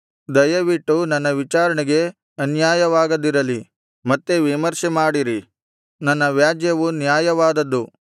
ದಯವಿಟ್ಟು ನನ್ನ ವಿಚಾರಣೆಗೆ ಅನ್ಯಾಯವಾಗದಿರಲಿ ಮತ್ತೆ ವಿಮರ್ಶೆ ಮಾಡಿರಿ ನನ್ನ ವ್ಯಾಜ್ಯವು ನ್ಯಾಯವಾದದ್ದು